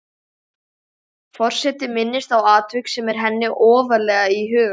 Forseti minnist á atvik sem er henni ofarlega í huga.